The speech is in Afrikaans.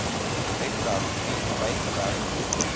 webwerf bied bygewerkte